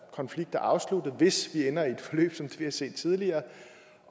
konflikt er afsluttet hvis vi ender i et forløb som det vi har set tidligere